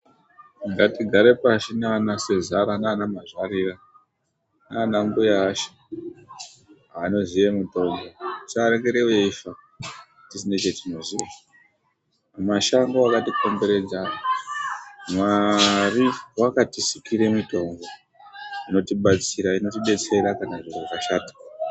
Ngatigare pashi nana sezara nana mazvarira nana mbuya asha anoziya mitombo. Musarekera veifa tisina chatinoziya. Mashango akatikomberedza mwari wakatisikira mitombo inotibetsera kana zviro zvashata.